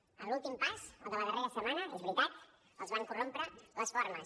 en l’últim pas el de la darrera setmana és veritat es van corrompre les formes